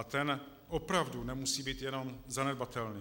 A ten opravdu nemusí být jenom zanedbatelný.